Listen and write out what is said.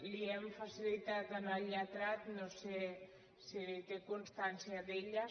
les hi hem facilitat al lletrat no sé si té constància d’elles